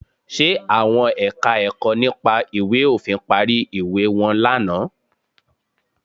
Ṣe àwọn Ẹ̀ka-ẹ̀kọ́ nípa ìwé òfin parí ìwé wọn lánàá?